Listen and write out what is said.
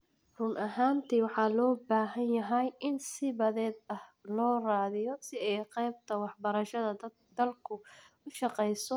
Run ahaantii, waxaa loo baahan yahay in si badheedh ah loo raadiyo si ay qaybta waxbarashada dalku u shaqeyso si miyir leh oo la hubo.